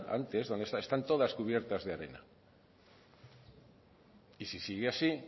antes están todas cubiertas de arena y si sigue así